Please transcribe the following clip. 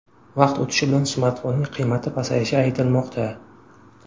Vaqt o‘tishi bilan smartfonning qiymati pasayishi aytilmoqda.